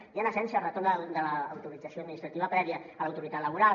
i en essència el retorn de l’autorització administrativa prèvia a l’autoritat laboral